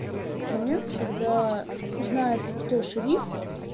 момент когда узнается кто шериф